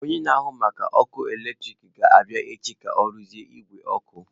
Onye na-ahụ maka ọkụ eletrik ga-abịa echi ka ọ rụzie igwe ọkụ.